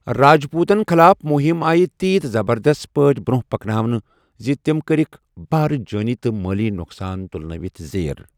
راجپوتوٗتَن خِلاف مُہَم آیہ تیژ زبردست پٲٹھۍ برونہہ پكناونہٕ زِ تِم كرِكھ بھارٕ جٲنی تہٕ مٲلی نۄقصان تُلنٲوِتھ زیر ۔